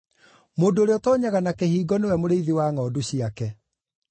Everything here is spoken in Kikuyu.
Mũndũ ũrĩa ũtoonyaga na kĩhingo nĩwe mũrĩithi wa ngʼondu ciake.